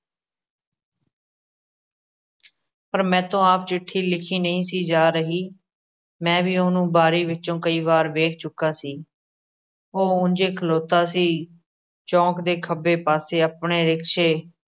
ਪਰ ਮੈਥੋਂ ਆਪ ਚਿੱਠੀ ਲਿਖੀ ਨਹੀਂ ਸੀ ਜਾ ਰਹੀ, ਮੈਂ ਵੀ ਉਹਨੂੰ ਬਾਰੀ ਵਿੱਚੋਂ ਕਈ ਵਾਰ ਵੇਖ ਚੁੱਕਾ ਸੀ, ਉਹ ਉਂਜੇ ਖਲੋਤਾ ਸੀ, ਚੌਕ ਦੇ ਖੱਬੇ ਪਾਸੇ, ਆਪਣੇ ਰਿਕਸ਼ੇ